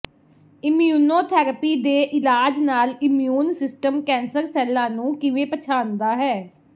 immunotherapy ਦੇ ਇਲਾਜ ਨਾਲ ਇਮਿਊਨ ਸਿਸਟਮ ਕੈਂਸਰ ਸੈੱਲਾਂ ਨੂੰ ਕਿਵੇਂ ਪਛਾਣਦਾ ਹੈ